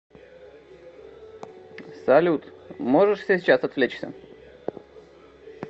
салют можешь сейчас отвлечься